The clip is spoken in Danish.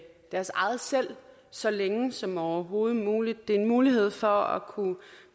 deres eget selv så længe som overhovedet muligt det er en mulighed for at kunne